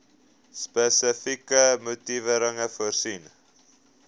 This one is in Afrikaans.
spesifieke motivering voorsien